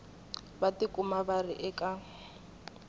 va tikuma va ri eka